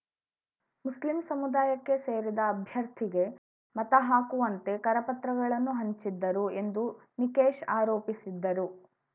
Muslim ಸಮುದಾಯಕ್ಕೆ ಸೇರಿದ ಅಭ್ಯರ್ಥಿಗೆ ಮತಹಾಕುವಂತೆ ಕರಪತ್ರಗಳನ್ನು ಹಂಚಿದ್ದರು ಎಂದು ನಿಕೇಶ್‌ ಆರೋಪಿಸಿದ್ದರು